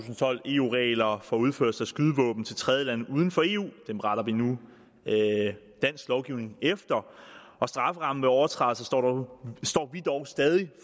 tolv eu regler for udførsel af skydevåben til tredjelande uden for eu dem retter vi nu dansk lovgivning ind efter strafferammen for overtrædelser står vi dog stadig